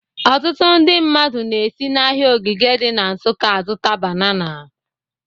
Ọtụtụ ndị mmadụ na-esi n'ahịa Ogige dị na Nsụka azụta banana